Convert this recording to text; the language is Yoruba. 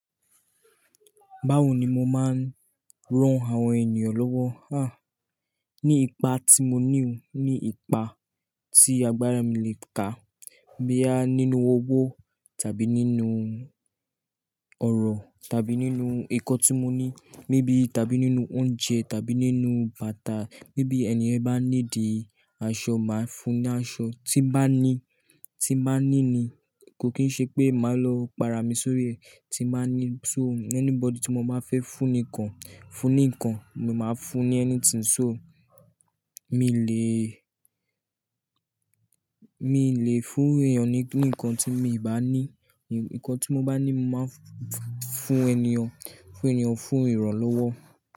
Báwo ni mo máa ń ran àwọn ènìyàn lọ́wọ́? Ní ipa tí mo ní òun, ní ipa tí agbára mi le kà. Boya nínú owó tàbí nínú ọ̀rọ̀ tàbí nínú nkọ tí mo ní, maybe tàbí nínú oúnjẹ tàbí nínú bàtà. Méaybe ènì ye bá needì aṣọ, màá fún ní aṣọ. Tí bá ní, tí màá ní ni, kò kín ṣe pé màá lọ pàrà mi sórí rẹ. Tí mbàá ní so anybody tí mo bá fẹ́ fún ní ǹkan, fún ní ǹkan, mo máa fún ní anything so. Mi le, mi ì le fún èèyàn ní ǹkan tí mi ìbá ní. Ǹkan tí mo bá ní, màá fún ènìyàn, fún ènìyàn, fún ìrànlọ́wọ́.